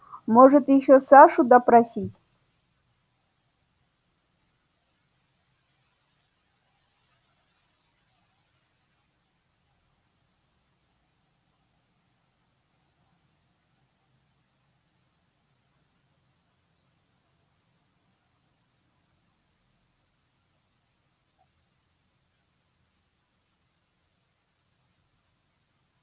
можете ещё сашу допросить